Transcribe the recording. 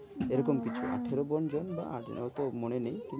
এরকম কিছু বাবা আঠেরো জন বা এত মনে নেই।